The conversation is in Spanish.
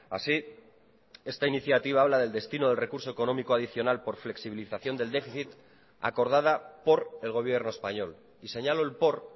así esta iniciativa habla del destino del recurso económico adicional por flexibilización del déficit acordada por el gobierno español y señalo el por